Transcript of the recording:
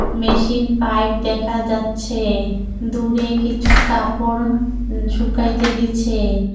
Machine pipe দেখা যাচ্ছে দূরে কিছু কাপড় উম শুকাইতে দিছে।